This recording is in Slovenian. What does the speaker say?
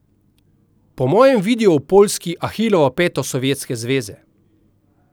Po mojem vidijo v Poljski ahilovo peto Sovjetske zveze.